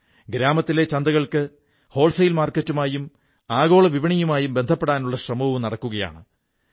ഗ്രാമീണ ചന്തകൾക്ക് ഹോൾസെയിൽ മാർക്കറ്റുമായും ആഗോള വിപണിയുമായും ബന്ധപ്പെടാനുള്ള ശ്രമവും നടക്കുകയാണ്